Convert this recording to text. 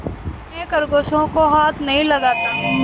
मैं खरगोशों को हाथ नहीं लगाता